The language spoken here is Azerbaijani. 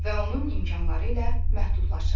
Və onun imkanları ilə məhdudlaşır.